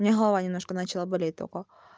у меня голова немножко начала болеть только